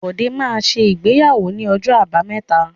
Bọ́dé máa ṣe ìgbéyàwó ní ọjọ́ Àbámẹ́ta.